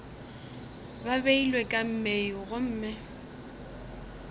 ba beilwe ka mei gomme